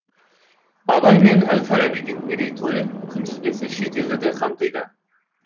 абай мен әл фарабидің мерейтойы күнтізбесі шетелді де қамтиды